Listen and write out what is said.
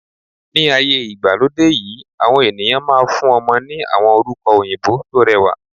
Ní ayé ìgbàlódé yìí, àwọn ènìyàn máa fún ọmọ ní àwọn orúkọ òyìnbó tó rẹwà.